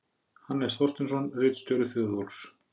Hannes Þorsteinsson, ritstjóri Þjóðólfs